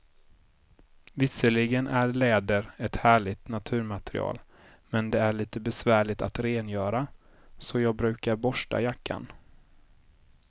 Visserligen är läder ett härligt naturmaterial, men det är lite besvärligt att rengöra, så jag brukar borsta jackan.